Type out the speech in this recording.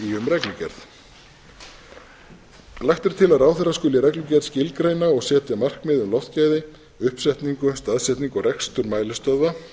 reglugerð lagt er til að ráðherra skuli í reglugerð skilgreina og setja markmið um loftgæði uppsetningu staðsetningu og rekstur mælistöðva